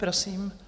Prosím.